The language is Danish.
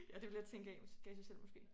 Ja det ville jeg tænke gav gav sig selv måske